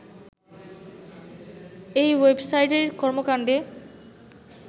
এই ওয়েবসাইটের কর্মকাণ্ডের